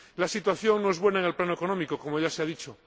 La situación no es buena en el plano económico, como ya se ha dicho.